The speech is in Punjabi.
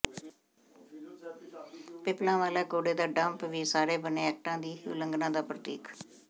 ਪਿੱਪਲਾਂਵਾਲਾ ਕੂੜੇ ਦਾ ਡੰਪ ਵੀ ਸਾਰੇ ਬਣੇ ਐਕਟਾਂ ਦੀ ਹੀ ਉਲੰਘਣਾ ਦਾ ਪ੍ਰਤੀਕ